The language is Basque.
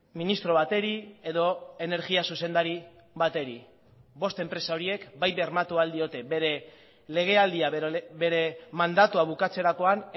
ministro bati edo energia zuzendari bati bost enpresa horiek bai bermatu ahal diote bere legealdia bere mandatua bukatzerakoan